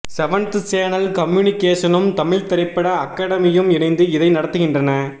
seventh channel கம்யூனிகேஷனும் தமிழ் திரைப்பட அகடமியும் இணைந்து இதை நடத்துகின்றன